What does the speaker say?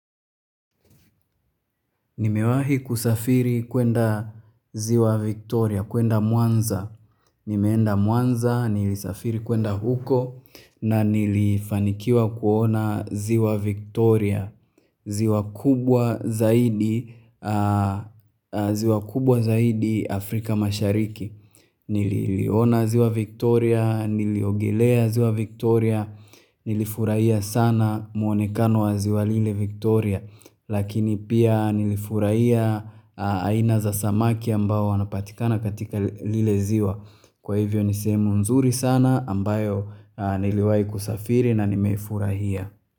Nimewahi kusafiri kwenda ziwa Victoria, kwenda mwanza. Nimeenda mwanza, nilisafiri kwenda huko na nilifanikiwa kuona ziwa Victoria, ziwa kubwa zaidi Afrika mashariki. Nililiona ziwa Victoria, niliogelea ziwa Victoria, nilifurahia sana muonekano wa ziwa lile Victoria. Lakini pia nilifurahia aina za samaki ambao wanapatikana katika lile ziwa Kwa hivyo ni sehemu nzuri sana ambayo niliwai kusafiri na nimefurahia.